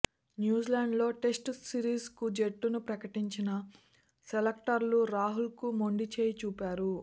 న్యూజిలాండ్తో టెస్టు సిరీస్కు జట్టును ప్రకటించిన సెలెక్టర్లు రాహుల్కు మొండిచేయి చూపారు